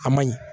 A ma ɲi